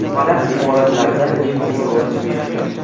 Baland imoratlarda liftning o‘rni beqiyos.